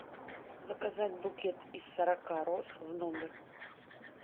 заказать букет из сорока роз в номер